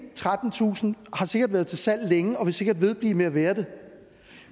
trettentusind har sikkert været til salg længe og vil sikkert vedblive med at være det